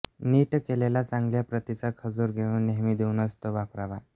नीट केलेला चांगल्या प्रतीचा खजूर घेऊन नेहमी धुऊनच तो वापरावा